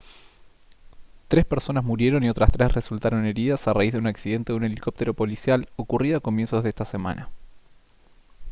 tres personas murieron y otras tres resultaron heridas a raíz de un accidente de un helicóptero policial ocurrido a comienzos de esta semana